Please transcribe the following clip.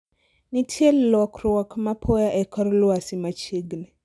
nitie lokruok mapoya e kor lwasi machiegni